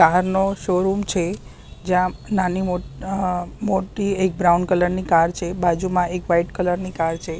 Car નો showroom છે જ્યાં નાની મો અહ મોટી એક બ્રાઉન કલર ની કાર છે બાજુમાં એક વ્હાઇટ કલર ની કાર છે.